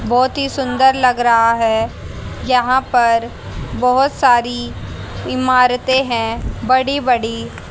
बहुत ही सुंदर लग रहा है यहां पर बहुत सारी इमारतें हैं बड़ी-बड़ी--